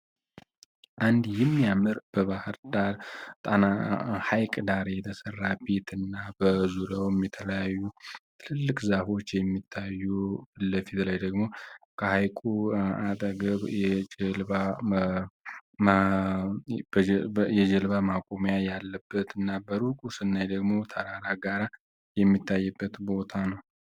አንድ የሚያምር በባህር ዳር ሃይቅ ዳር የተሰራ ቤት እና በዙሪያውም የተለያዩ ትልቅ ዛፎች የሚታዩ እና ከዚ በላይ ደግሞ ከሃይቁ አጠገብ የጀልባ ማቆሚያ ያለበት እና በሩቁ ስናይ ደሞ ተራራ፣ ጋራ ሚታይበት ቦታ ነው።